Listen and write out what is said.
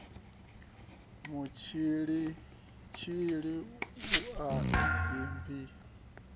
mutshilitshili vhua ibinizimu u sa